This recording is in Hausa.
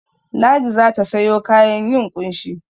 Ladi za ta sayo kayan yin ƙunshi.